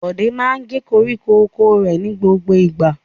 Bọ̀dé máa ń gé koríko oko rẹ̀ ní gbogbo ìgbà.